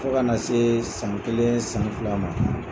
Fɔ kana see san kelen san fila ma